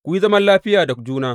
Ku yi zaman lafiya da juna.